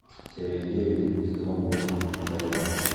серия девять сезон восемь одаренная